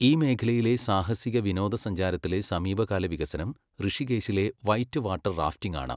ഈ മേഖലയിലെ സാഹസിക വിനോദസഞ്ചാരത്തിലെ സമീപകാല വികസനം ഋഷികേശിലെ വൈറ്റ് വാട്ടർ റാഫ്റ്റിംഗാണ്.